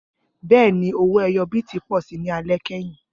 Bẹẹni, owó ẹyọ bíìtì pọ si ni alẹ kẹhin